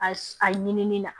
A a ɲini ni na